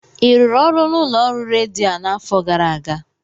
ị rụrụ ọrụ n'ụlọ ọrụ redio a n'afọ gara aga?